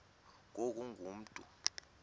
ngoku ungu mntu